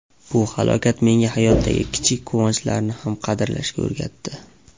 Bu halokat menga hayotdagi kichik quvonchlarni ham qadrlashga o‘rgatdi.